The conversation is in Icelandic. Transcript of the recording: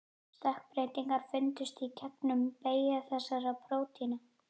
Stökkbreytingar fundust í genum beggja þessara prótína.